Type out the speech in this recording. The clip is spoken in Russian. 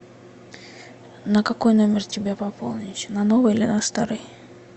на какой номер тебе пополнить на новый или на старый